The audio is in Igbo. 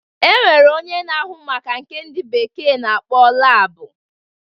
E nwere onye na-ahụ maka nke ndị bekee na-akpọ labụ